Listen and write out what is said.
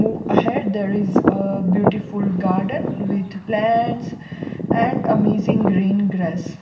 Move ahead there is a beautiful garden with plants and amazing green grass.